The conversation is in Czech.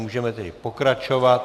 Můžeme tedy pokračovat.